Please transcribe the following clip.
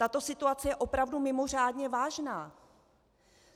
Tato situace je opravdu mimořádně vážná.